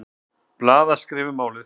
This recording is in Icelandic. Blaðaskrif um málið.